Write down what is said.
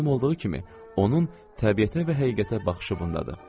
Məlum olduğu kimi onun təbiətə və həqiqətə baxışı bundadır.